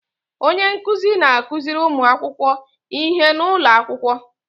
Onye nkuzi na-akuziri ụmụ akwụkwọ ihe n'ụlọ akwụkwọ.